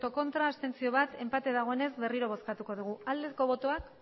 ez bat abstentzio enpatea dagoenez berriro bozkatuko dugu aldeko botoak